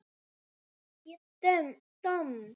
Ég domm?